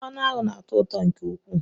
Mmanụ aṅụ na atọ ụtọ nke ukwuu